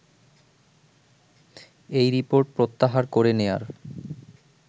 এই রিপোর্ট প্রত্যাহার করে নেয়ার